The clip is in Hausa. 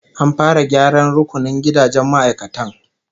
An fara gyaran rukunin gidajen ma'aikatan